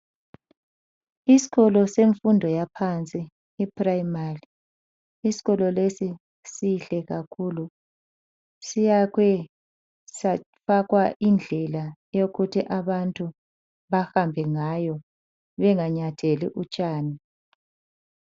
Isikolo semfundo yaphansi iprimary . Isikolo lesi sihle kakhulu. Siyakhwe safakwa indlela, eyokuthi abantu bahambe ngayo benganyatheli utshani.